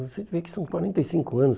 Você vê que são quarenta e cinco anos.